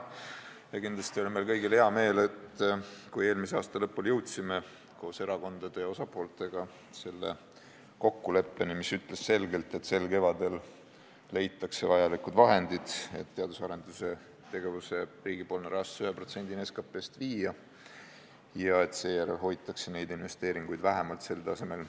Ja kindlasti oli meil kõigil hea meel, et me eelmise aasta lõpul jõudsime koos erakondade ja huvitatud osapooltega kokkuleppeni, mis ütles selgelt, et sel kevadel leitakse vajalikud summad, et teadus- ja arendustegevuse riigipoolne rahastus viia 1%-ni SKT-st ja et seejärel hoitakse neid investeeringuid vähemalt samal tasemel.